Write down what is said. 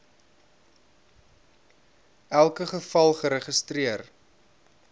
elke geval geregistreer